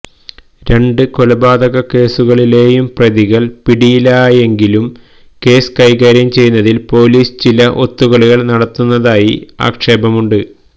രണ്ട് കൊലപാതകക്കേസുകളിലെയും പ്രതികൾ പിടിയിലായെങ്കിലും കേസ് കൈകാര്യം ചെയ്യുന്നതിൽ പോലീസ് ചില ഒത്തുകളികൾ നടത്തുന്നതായി ആക്ഷേപമുണ്ട്